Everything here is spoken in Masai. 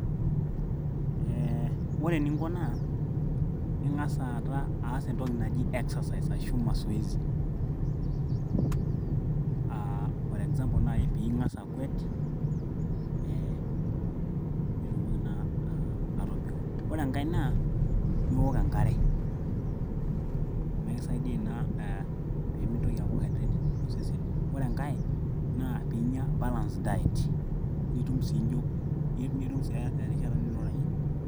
ee ore eninko naa ing'as aas entoki naji exercise ashu masoesi for example naaji ing'as akwet ee piitumoki naa atobiko ore enkay naa piiwok enkare amu ekisaidia ina peemintoki aaku hydrated tosesen ore enkay naa piinyia balaced diet nitum sii erishata nirurayie.